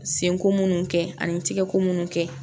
Senko munnu kɛ ani n tɛgɛko munnu kɛ